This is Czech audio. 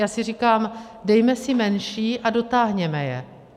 Já si říkám, dejme si menší a dotáhněme je.